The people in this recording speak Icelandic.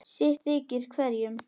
sitt þykir hverjum